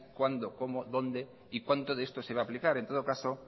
cuándo cómo dónde y cuánto de esto se va a aplicar en todo caso